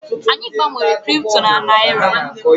Anyị gbanwere Kripto na Naịra.